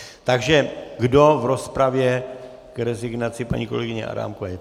Takže kdo v rozpravě k rezignaci paní kolegyně Adámkové?